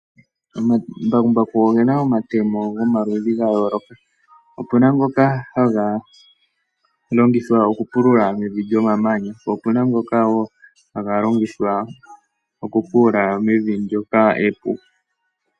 Omambakumbaku ogena omatemo gomaludhi ga yooloka. Opuna ngoka haga longithwa okupulula mevi lyomamanya, po opuna wo ngoka haga longithwa okupulula mevi epu.